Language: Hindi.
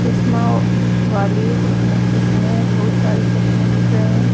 चस्मा वाली जिसमे चस्मे बहोत सारे चस्मे दिख रहे है।